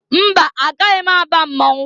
Mba! Agaghị m aba mmọnwụ.